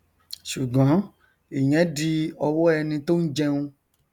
ṣùgọn ìyẹn di ọwọ ẹni tó n jẹun